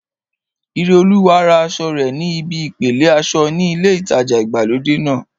Ireolúwa ra aṣọ rẹ̀ ní ibi ìpele aṣọ ní ilé ìtajà ìgbàlódé náà